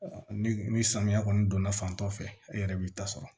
Ni ni samiya kɔni donna fan dɔ fɛ e yɛrɛ b'i ta sɔrɔ